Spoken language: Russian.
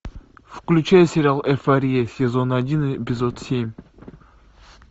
включай сериал эйфория сезон один эпизод семь